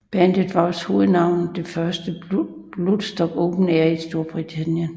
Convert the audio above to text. Bandet var også hovednavnet det første Bloodstock Open Air i Strorbritannien